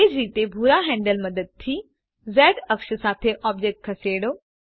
એ જ રીતે ભૂરા હેન્ડલ મદદથી ઝ અક્ષ સાથે ઑબ્જેક્ટ ખસેડો